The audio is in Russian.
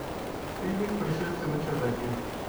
фильмик пришельцы на чердаке